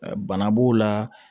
Bana b'o la